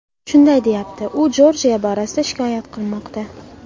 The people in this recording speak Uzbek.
shunday deyapti: U Jorjiya borasida shikoyat qilmoqda.